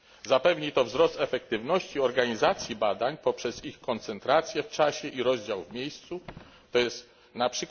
Zapewni to wzrost efektywności organizacji badań poprzez ich koncentrację w czasie i rozdział w miejscu, to jest np.